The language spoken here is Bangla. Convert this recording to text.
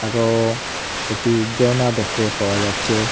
আরও একটি ঝর্না দেখতে পাওয়া যাচ্ছে।